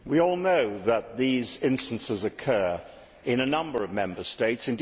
We all know that these instances occur in a number of Member States